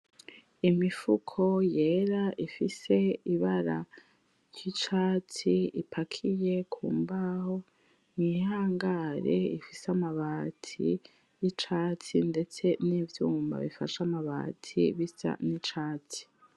Imifuko yera ifise ibara ry'icatsi ipakiye kumbaho mwihangare ifise amabati y'icatsi ndetse n'ivyuma bifashe amabati bisa n'icatsi.